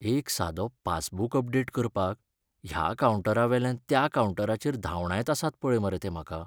एक सादो passbook update करपाक ह्या कावंटरावेल्यान त्या कावंटराचेर धावंडायत आसात पळय मरे ते म्हाका.